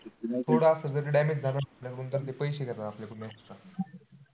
थोडं असं जरी damage झालं ना पैसे घेतात आपल्या कडून extra